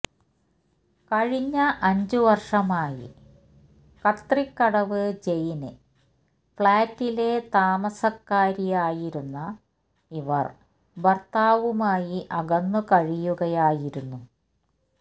കഴിഞ്ഞ അഞ്ച് വര്ഷമായി കത്രിക്കടവ് ജെയിന് ഫ്ളാറ്റിലെ താമസക്കാരിയായിരുന്ന ഇവര് ഭര്ത്താവുമായി അകന്നു കഴിയുകയായിരുന്നു